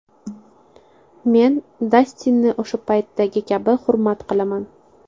Men Dastinni o‘sha paytdagi kabi hurmat qilaman.